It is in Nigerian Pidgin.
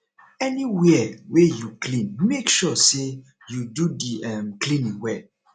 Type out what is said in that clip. anywia wey yu clean mek sure say yu do di um cleaning well